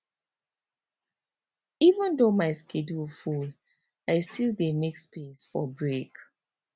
even though my schedule full i still dey make space for break